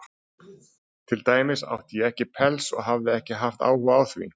Til dæmis átti ég ekki pels, og hafði ekki haft áhuga á því.